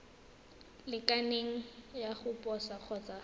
lekaneng ya go posa kgotsa